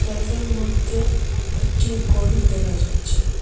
Self -এর মদ্যে একটি গোরি দেখা যাচ্চে।